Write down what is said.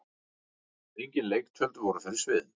Engin leiktjöld voru fyrir sviðinu.